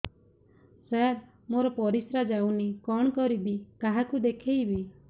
ସାର ମୋର ପରିସ୍ରା ଯାଉନି କଣ କରିବି କାହାକୁ ଦେଖେଇବି